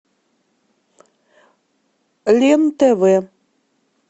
лен тв